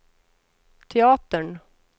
teatern